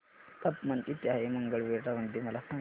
तापमान किती आहे मंगळवेढा मध्ये मला सांगा